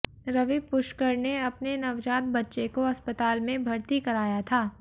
रवि पुष्कर ने अपने नवजात बच्चे को अस्पताल में भर्ती कराया था